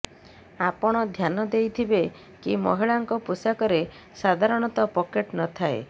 ଆପଣ ଧ୍ୟାନ ଦେଇଥିବେ କି ମହିଳାଙ୍କ ପୋଷାକରେ ସାଧାରଣତଃ ପକେଟ୍ ନଥାଏ